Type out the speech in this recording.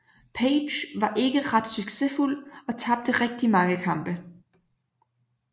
Page var ikke ret succesfuld og tabte rigtig mange kampe